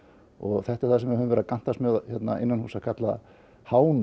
þetta er það sem höfum verið að gantast með hérna innanhúss að kalla